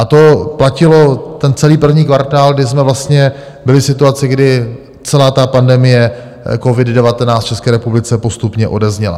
A to platilo ten celý první kvartál, kdy jsme vlastně byli v situaci, kdy celá pandemie Covid-19 v České republice postupně odezněla.